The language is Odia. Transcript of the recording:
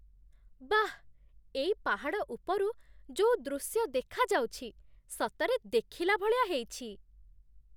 ବାଃ! ଏଇ ପାହାଡ଼ ଉପରୁ ଯୋଉ ଦୃଶ୍ୟ ଦେଖାଯାଉଛି, ସତରେ ଦେଖିଲାଭଳିଆ ହେଇଛି!